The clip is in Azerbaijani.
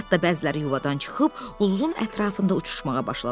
Hətta bəziləri yuvadan çıxıb buludun ətrafında uçuşmağa başladılar.